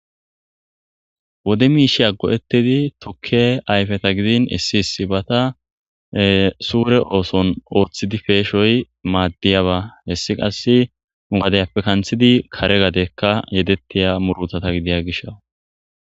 Wode miishe aggo7etidi tukke ayfeta gidin issiis bata suure ooson ooththidi peeshoy maaddiyaba hessi qass mugadayappe kanthidi kare gadekka yedettiya murutata gidiya gisha